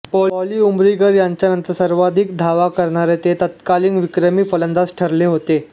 पाॅली उमरीगर यांच्यानंतर सर्वाधिक धावा करणारे ते तत्कालीन विक्रमी फलंदाज ठरले होते